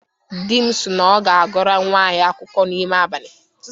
Di m si na ọ ga-agụrụ nnwa anyị akụkọ n'ime abalị